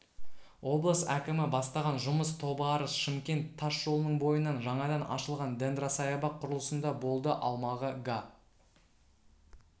облыс әкімі бастаған жұмыс тобыарыс шымкент тас жолының бойынан жаңадан ашылған дендросаябақ құрылысында болды аумағы га